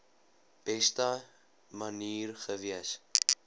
beste manier gewees